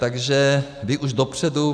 Takže vy už dopředu...